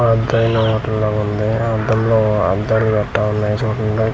పెదైన hotel లాగా ఉంది అందులో అదం గట్రా టవల్ ఏసి చుట్టూ .